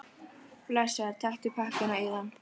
Blessaður, taktu pakkann og eigðu hann.